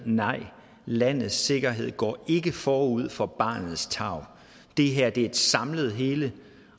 nej landets sikkerhed går ikke forud for barnets tarv det her er et samlet hele